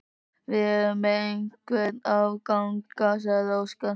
Við erum með einhverja afganga, sagði Óskar.